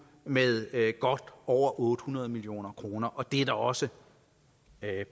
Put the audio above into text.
med over otte hundrede million kroner det er der også